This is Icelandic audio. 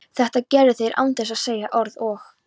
Þetta gerðu þeir án þess að segja orð og